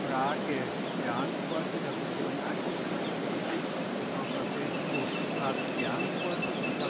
Frage beantwortet Da hat sich jemand angesprochen gefühlt, und Frau Bašescu hat geantwortet.